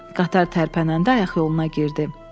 Qatar tərpənəndə ayaqyoluna girdi.